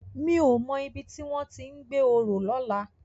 Mi ó mò ibi tiwòn ti n gbé óró lòlá